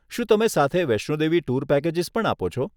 શું તમે સાથે વૈષ્ણો દેવી ટુર પેકેજીસ પણ આપો છો?